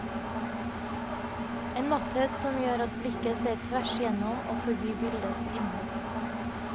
En matthet som gjør at blikket ser tvers igjennom og forbi bildets innhold.